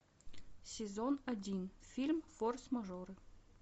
сезон один фильм форс мажоры